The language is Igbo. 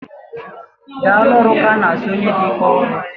Daalụ ọrụ ka ana asị onye dị ike ọrụ